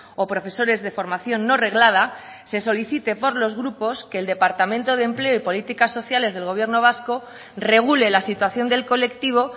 o profesores de formación no reglada se solicite por los grupos que el departamento de empleo y políticas sociales del gobierno vasco regule la situación del colectivo